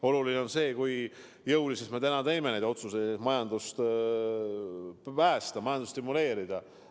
Oluline on see, kui jõuliselt me täna otsuseid teeme, et majandust päästa, seda stimuleerida.